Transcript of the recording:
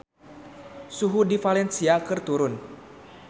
Suhu di Valencia keur turun